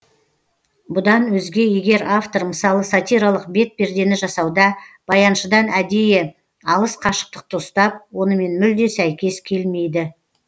бұдан өзге егер автор мысалы сатиралық бет пердені жасауда баяншыдан әдейі алыс қашықтықты ұстап онымен мүлде сәйкес келмейді